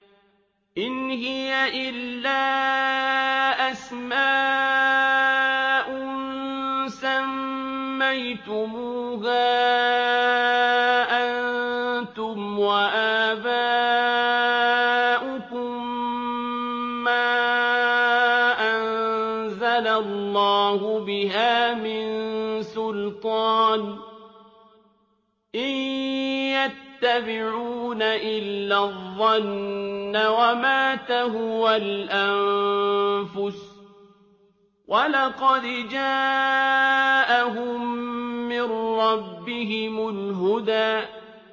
إِنْ هِيَ إِلَّا أَسْمَاءٌ سَمَّيْتُمُوهَا أَنتُمْ وَآبَاؤُكُم مَّا أَنزَلَ اللَّهُ بِهَا مِن سُلْطَانٍ ۚ إِن يَتَّبِعُونَ إِلَّا الظَّنَّ وَمَا تَهْوَى الْأَنفُسُ ۖ وَلَقَدْ جَاءَهُم مِّن رَّبِّهِمُ الْهُدَىٰ